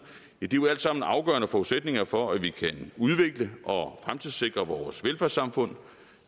jo alt sammen afgørende forudsætninger for at vi kan udvikle og fremtidssikre vores velfærdssamfund